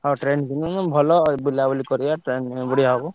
ହଁ train କିଣିଦଉନୁ ଭଲ ବୁଲାବୁଲି କରିଆ train ରେ ବଢିଆ ହବ।